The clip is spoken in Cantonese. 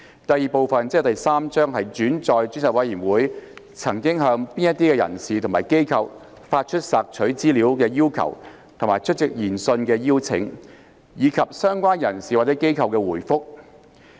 第 II 部分載述專責委員會曾向哪些人士或機構發出索取資料的要求和出席研訊的邀請；以及相關人士或機構的回覆。